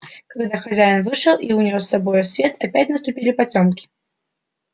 когда хозяин вышел и унёс с собою свет опять наступили потёмки